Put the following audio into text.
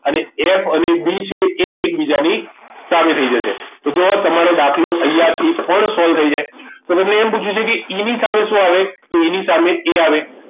અને F અને B છે એ એકબીજાની સામે થઈ જશે તો જુઓ તમારો દાખલો અહીંયાથી પણ solve થઈ જાય તો તમને એમ પૂછ્યું છે કે E સામે શું આવે તો E સામે A આવે